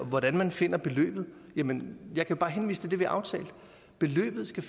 hvordan man finder beløbet kan jeg bare henvise til det vi har aftalt beløbet skal